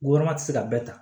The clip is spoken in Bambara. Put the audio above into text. Ɔrɔma ti se ka bɛɛ ta